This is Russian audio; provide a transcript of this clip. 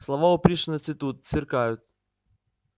слова у пришвина цветут сверкают